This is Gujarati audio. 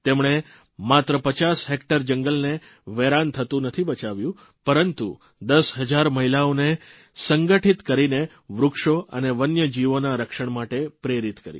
તેમણે માત્ર 50 હેકટર જંગલને વેરાન થતું નથી બચાવ્યું પરંતુ દસ હજાર મહિલાઓને સંગઠિત કરીને વૃક્ષો અને વન્ય જીવોના રક્ષણ માટે પ્રેરિત કરી